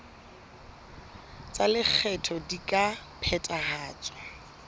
tsa lekgetho di ka phethahatswa